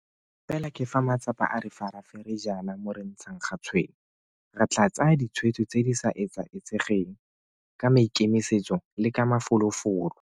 Fela ke fa matsapa a re farafere jaana moo re ntshang ga tshwene. Re tla tsaya ditshwetso tse di sa etsaetsegeng, ka maikemisetso le ka mafolofolo.